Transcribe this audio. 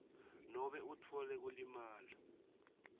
nobe utfole kulimala